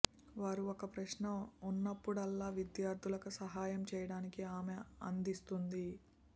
వారు ఒక ప్రశ్న ఉన్నప్పుడల్లా విద్యార్థులకు సహాయం చేయటానికి ఆమె అందిస్తుంది